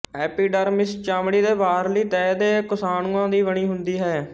epidermis ਚਮੜੀ ਦੇ ਬਾਹਰਲੀ ਤਹਿ ਦੇ ਕੋਸ਼ਾਨੂਆਂ ਦੀ ਬਣੀ ਹੁੰਦੀ ਹੈ